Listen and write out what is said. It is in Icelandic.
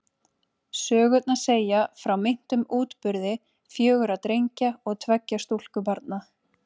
Sögurnar segja frá meintum útburði fjögurra drengja og tveggja stúlkubarna.